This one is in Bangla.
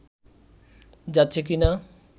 যাচ্ছে কি না